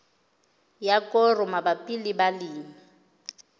ya koro mabapi le balemi